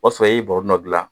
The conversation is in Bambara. O b'a sɔrɔ i ye bɔrɔnin dɔ dilan